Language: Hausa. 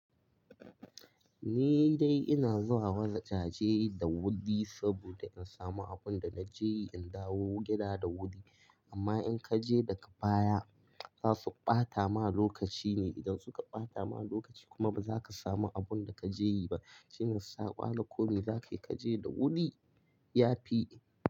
Ni dai ina zuwa wajaje da wuri saboda in samu abunda na je yi in dawo gida da wuri. Amma in kaje daga baya zasu bata ma lokaci ne, idan suka bata ma lokaci kuma baza ka samu abunda kaje yi ba. Shine saka lokoni zaka je da wuri yafi.